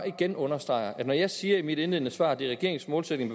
igen understreger at når jeg siger i mit indledende svar at det er regeringens målsætning